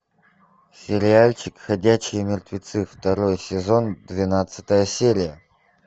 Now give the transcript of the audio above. сериальчик ходячие мертвецы второй сезон двенадцатая серия